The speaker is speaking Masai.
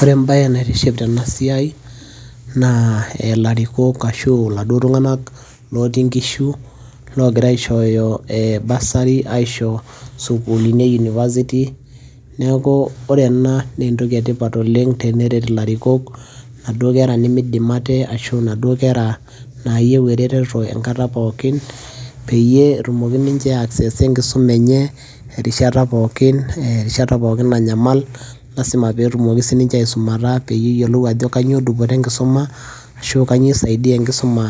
Ore embaye naitiship tene siai naa ilarikok ashu iladuoo tung'anak lootii nkishu oogira aishooyo bursary aisho sukuulini e university, neeku ore ena naa entoki etipat oleng' teneret ilarikok inaduoo kera nemiidim ate ashu inaduoo kera naayieu eretoto enkata pookin peyie etumoki ninche ai access enkisuma enye erishata pookin, erishata pookin nanyamal netumoki sininche aisumata peyie eyiolou ajo kainyioo dupoto enkisuma ashu kainyioo isaidia enkisuma